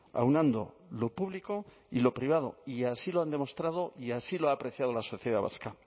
aunando lo público y lo privado y así lo han demostrado y así lo ha apreciado la sociedad vasca